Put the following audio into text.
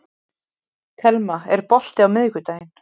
Telma, er bolti á miðvikudaginn?